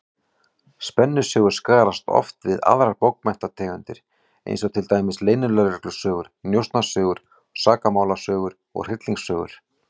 Spennusögur skarast oft við aðrar bókmenntategundir, eins og til dæmis leynilögreglusögur, njósnasögur, sakamálasögur og hryllingssögur.